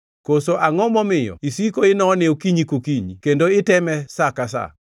koso angʼo momiyo isiko inone okinyi kokinyi kendo iteme sa ka sa?